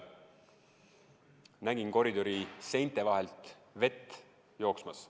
Nägin koridori seinte vahelt vett jooksmas.